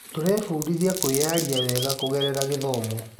Tũrebundithia kwĩyaria wega kũgerera gĩthomo.